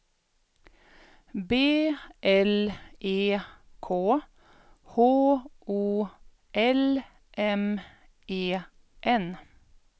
B L E K H O L M E N